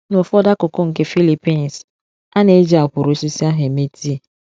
N’ụfọdụ akụkụ nke Philippines, a na-eji akwụrụ osisi ahụ eme tii.